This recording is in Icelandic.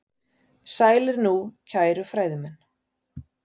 Sælir nú, kæru fræðimenn.